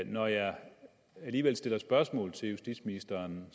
når jeg alligevel stiller spørgsmål til justitsministeren